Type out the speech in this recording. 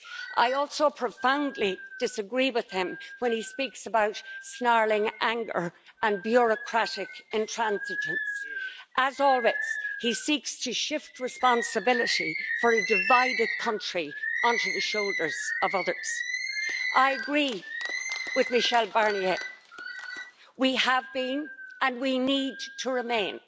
I also profoundly disagree with him when he speaks about snarling anger and bureaucratic intransigence. As always, he seeks to shift responsibility for a divided country onto the shoulders of others. I agree with Mr Michel Barnier. We have been and we need to remain